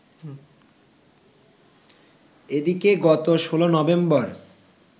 এদিকে গত ১৬ নভেম্বর